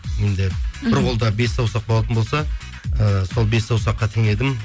енді бір қолда бес саусақ болатын болса ііі сол бес саусаққа теңедім